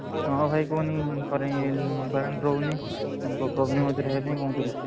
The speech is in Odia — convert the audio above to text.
ହଁ ଭାଇ କୁହନି current ଦଉନି problem ହଉଛି ରହିବା ପାଇଁ କଣ କରିବୁ?